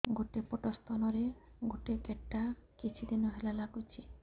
ଗୋଟେ ପଟ ସ୍ତନ ରେ ଗୋଟେ ଗେଟା କିଛି ଦିନ ହେଲା ଲାଗୁଛି